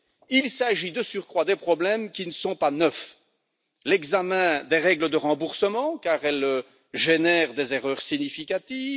Il s'agit, de surcroît, de problèmes qui ne sont pas neufs l'examen des règles de remboursement, car elles génèrent des erreurs significatives